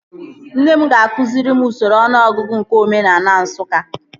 Nne m ga-akụziri m usoro ọnụọgụgụ nke omenaala Nsụka